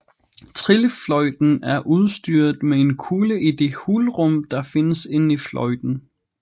Trillefløjten er udstyret med en kugle i det hulrum der findes inde i fløjten